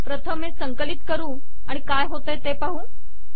प्रथम हे संकलित करू आणि काय होते ते पाहू